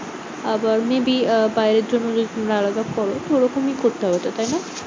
আবার may be আহ বাইরের জন্য আলাদা খরচ ওরকমই তো করতে হবে তো, তাইনা?